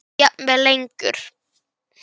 Pínum okkur.